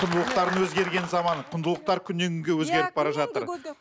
құндылықтардың өзгерген заманы құндылықтар күннен күнге өзгеріп бара жатыр